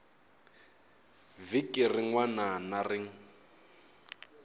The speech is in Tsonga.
vhiki rin wana na rin